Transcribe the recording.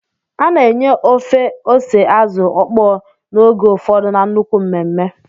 A na-enye ofe ose Azu okpo n'oge ụfọdụ na nnukwu mmemme